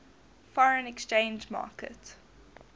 foreign exchange market